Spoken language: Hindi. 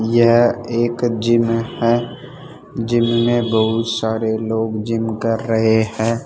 यह एक जिम है जिम में बहुत सारे लोग जिम कर रहे हैं।